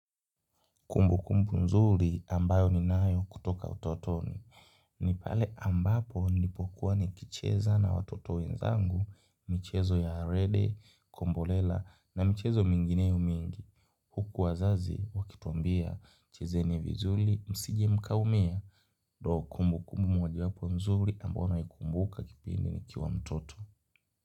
Kumbukumbu nzuri ambayo ninayo kutoka utotoni, ni pale ambapo nipokuwa nikicheza na watoto wenzangu, michezo ya rede, kombolela na michezo mingineo mingi, huku wazazi wakituambia, chezeni vizuri, msije mkaumia, ndio kumbukumbu mojawapo mzuri ambayo naikumbuka kipindi nikiwa mtoto.